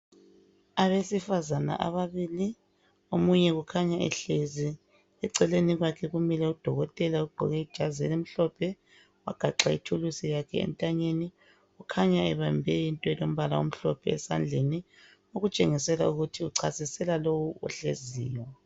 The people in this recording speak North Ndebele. Abesifazana ababili omunye ukhanya ehlezi eceleni kwakhe kumile udokotela ogqoke ijazi elimhlophe ,wagaxa ithulusi yakhe entanyeni .Ukhanya ebambe into elombala omhlophe esandleni .Okutshengisela ukuthi uchasisela lowu ohleziyo.